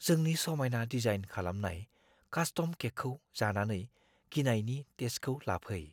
जोंनि समायना डिजाइन खालामनाय कास्टम केकखौ जानानै गिनायनि टेस्टखौ लाफै।